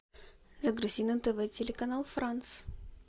загрузи на тв телеканал франс